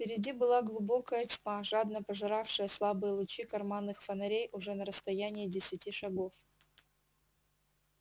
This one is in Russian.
впереди была глубокая тьма жадно пожиравшая слабые лучи карманных фонарей уже на расстоянии десяти шагов